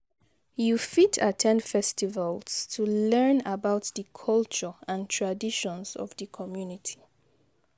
You fit at ten d festivals to learn about di culture and traditions of di community.